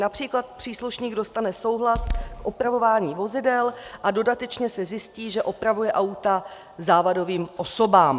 Například příslušník dostane souhlas k opravování vozidel a dodatečně se zjistí, že opravuje auta závadovým osobám.